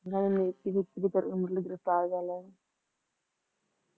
ਨਹੀਂ ਨਹੀਂ ਗ੍ਰਿਫਤਾਰ ਕਰਲਿਆ ਸੀ